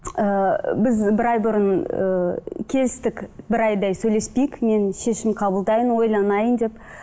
ыыы біз бір ай бұрын ыыы келістік бір айдай сөйлеспейік мен шешім қабылдайын ойланайын деп